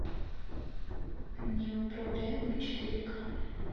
неуправляемый четыре ка